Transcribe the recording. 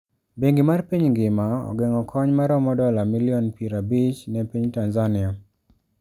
Bengi mar piny ngima ogeng'o kony maromo dola milion pier abich ne piny Tanzania?